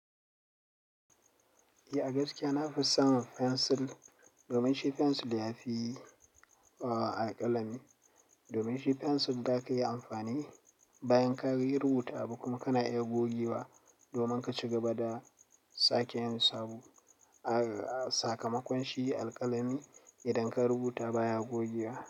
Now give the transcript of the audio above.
Eh gaskiya na fi son pensil domin shi pensil yafi ɓawa alƙalami. Domin shi pensil zaka iya amfani bayan ka yi rubuta abu kuma kana iya gogewa domin ka ci gaba da sake yin sabo. A sakamakon shi alƙalami idan ka rubuta baya gogewa.